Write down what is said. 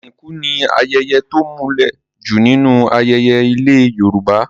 Ìsìnkú ni ayẹyẹ to múlẹ̀ jù nínú ayẹyẹ ilẹ̀ Yorùbá.